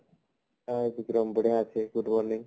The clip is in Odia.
hi ବିକ୍ରମ ବଢିଆ ଅଛି good morning